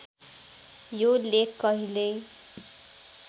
यो लेख कहिल्यै